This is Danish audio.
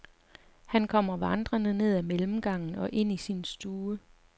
Han kommer vandrende ned ad mellemgangen og ind i sin stue.